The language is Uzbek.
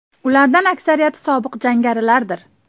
Ulardan aksariyati sobiq jangarilardir.